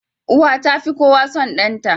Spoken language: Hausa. Uwa tafi kowa son danta